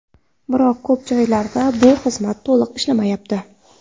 Biroq ko‘p joylarda bu xizmat to‘liq ishlamayapti.